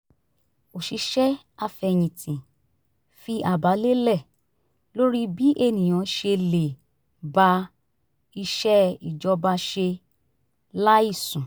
òṣìṣẹ́ afẹ̀yinti fi àbá lélẹ̀ lórí bí ènìyàn ṣe le ba iṣẹ́ ìjọba ṣe láìsùn